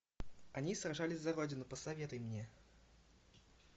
они сражались за родину посоветуй мне